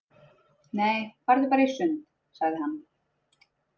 Nei, farðu bara í sund, sagði hann.